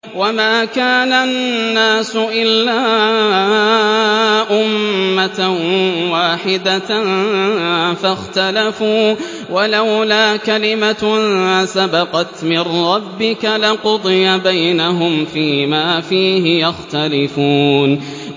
وَمَا كَانَ النَّاسُ إِلَّا أُمَّةً وَاحِدَةً فَاخْتَلَفُوا ۚ وَلَوْلَا كَلِمَةٌ سَبَقَتْ مِن رَّبِّكَ لَقُضِيَ بَيْنَهُمْ فِيمَا فِيهِ يَخْتَلِفُونَ